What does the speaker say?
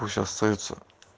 пусть остаются